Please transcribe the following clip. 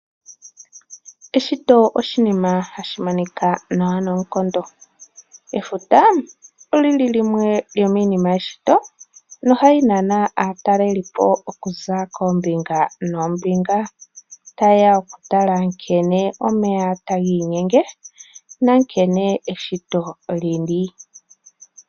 Eshito oshinima hashi monika nawa noonkondo. Efuta olili limwe lyomiinima yeshito no hali nana aatalelipo okuza koombinga noombinga tayeya okutala nkene omeya taga inyenge nankene eshito lili.